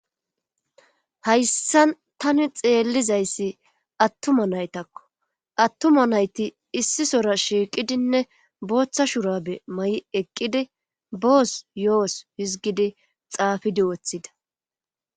hayssan tani xeellizayssi attuma naytakko attuma nayti issisora shiiqidinne booththa shurabe ma7i eqqidi boos yo7os hizgidi xaafidi woththida